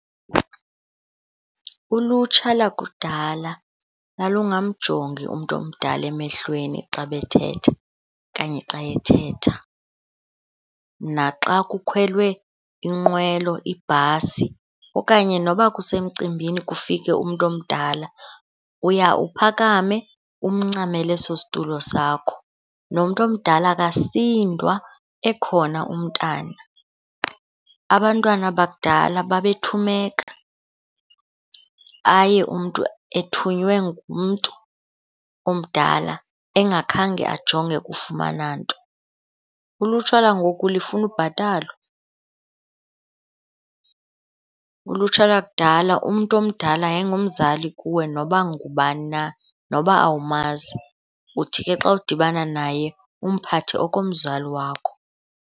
Ulutsha lakudala lalungamjongi umntu omdala emehlweni xa bethetha okanye xa ethetha. Naxa kukhwelwe inqwelo, ibhasi, okanye noba kusemcimbini kufike umntu omdala uya uphakame umncamele eso situlo sakho, nomntu omdala akasindwa ekhona umntana. Abantwana bakudala babethumeka, aye umntu ethunywe ngumntu omdala engakhange ajonge ukufumana nto, ulutsha langoku lifuna ubhatalwa. Ulutsha lakudala umntu omdala yayingumzali kuwe noba ngubani na, noba awumazi, uthi ke xa udibana naye umphathe okomzali wakho.